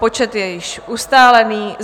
Počet je již ustálený.